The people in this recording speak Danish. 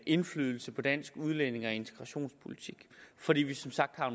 indflydelse på dansk udlændinge og integrationspolitik fordi vi som sagt har